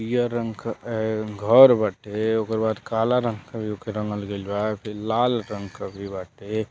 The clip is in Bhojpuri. पियर रंग क ए घर बाटे ओकरी बाद काला रंग के भी ओके रंगल गइल बा फिर लाल रंग के भी बाटे।